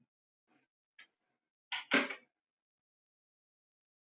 Þú getur lesið nánar um þetta í eftirfarandi svörum: Geta fiskar blikkað augunum?